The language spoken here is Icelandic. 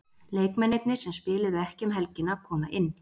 Leikmennirnir sem spiluðu ekki um helgina koma inn.